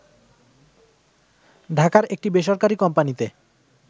ঢাকার একটি বেসরকারী কোম্পানীতে